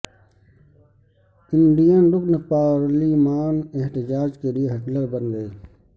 Indian رکن پارلیمان احتجاج کے لیے ہٹلر بن گئے